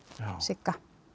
Sigga